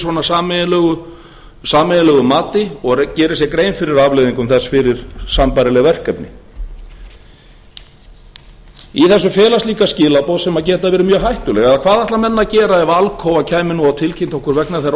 svona sameiginlegu mati og geri sér grein fyrir afleiðingum þess fyrir sambærileg verkefni í þessu felast líka skilaboð sem geta verið mjög hættuleg eða hvað ætla menn að gera ef alcoa kæmi nú og tilkynnti okkur að vegna þeirrar